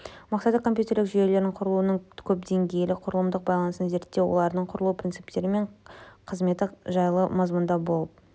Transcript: мақсаты компьютерлік жүйелердің құрылуының көпдеңгейлі құрылымдық байланысын зерттеу олардың құрылу принциптері мен қызметі жайлы мазмұндау болып